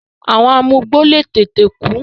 àwọn amugbó le tètè kú.